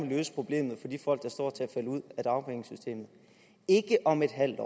løse problemet for de folk der står til at falde ud af dagpengesystemet ikke om et halvt